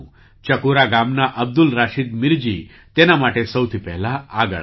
ચકૂરા ગામના અબ્દુલ રાશીદ મીરજી તેના માટે સૌથી પહેલા આગળ આવ્યા